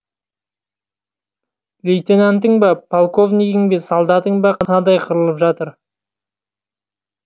лейтенантың ба полковнигін бе солдатың ба қынадай қырылып жатыр